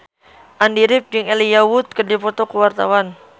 Andy rif jeung Elijah Wood keur dipoto ku wartawan